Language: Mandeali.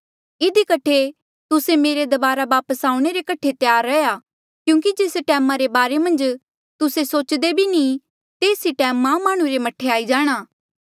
इधी कठे तुस्से मेरे दबारा वापस आऊणें रे कठे त्यार रहा क्यूंकि जेस टैमा रे बारे मन्झ तुस्से सोच्दे भी नी तेस ई टैम मां माह्णुं रा मह्ठे आई जाणा